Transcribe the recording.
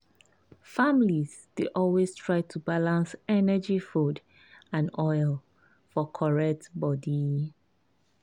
families dey always try to balance energy food and oil for correct body.